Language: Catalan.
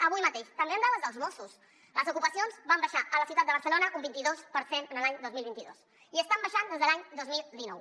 avui mateix també amb dades dels mossos les ocupacions van baixar a la ciutat de barcelona un vint idos per cent l’any dos mil vint dos i estan baixant des de l’any dos mil dinou